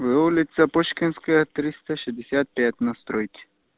ээ улица пушкинская триста шестьдесят пять на стройке